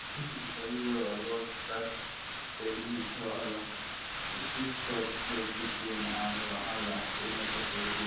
if people sabi well um about that belly wahala e fit stop um plenty pain and wahala um wey no suppose dey